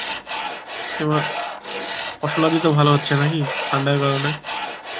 এবার ফসলাদি তো ভালো হচ্ছে নাকি? ঠান্ডার কারণ এ